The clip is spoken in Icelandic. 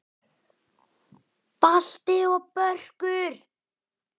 Balti og Börkur!